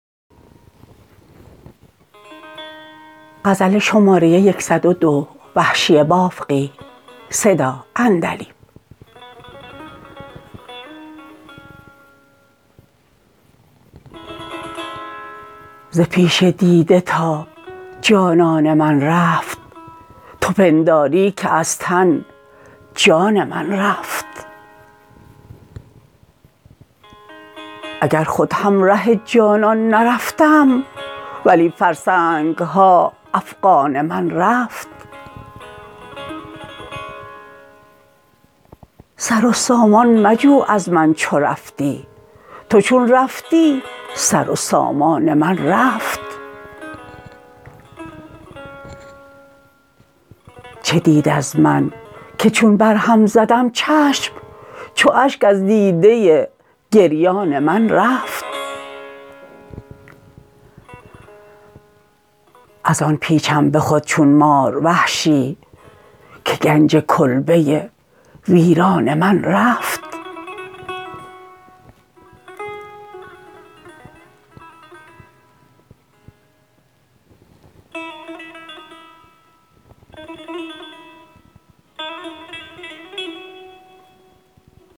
ز پیش دیده تا جانان من رفت تو پنداری که از تن جان من رفت اگر خود همره جانان نرفتم ولی فرسنگها افغان من رفت سر و سامان مجو از من چو رفتی تو چون رفتی سر و سامان من رفت چه دید از من که چون بر هم زدم چشم چو اشک از دیده گریان من رفت از آن پیچم به خود چون مار وحشی که گنج کلبه ویران من رفت